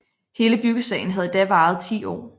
Hele byggesagen havde da varet 10 år